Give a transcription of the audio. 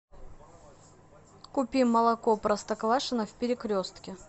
купи молоко простоквашино в перекрестке